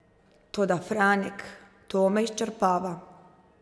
Toda, Franek, to me izčrpava.